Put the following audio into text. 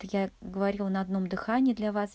то я говорила на одном дыхании для вас